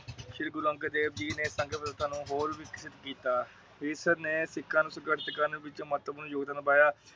ਸ਼੍ਰੀ ਗੁਰੂ ਅੰਗਦ ਦੇਵ ਜੀ ਨੇ ਸੰਗਤ ਪ੍ਰਥਾ ਨੂੰ ਇੱਕ ਹੋਰ ਵਿਕਸਿਤ ਕੀਤਾ। ਇਸ ਨੇ ਸਿੱਖਾਂ ਨੂੰ ਸੰਗ੍ਰਸ ਕਰਨ ਵਿੱਚ ਮਹੱਤਵ ਪੂਰਨ ਜੋਗਦਾਨ ਪਾਇਆ।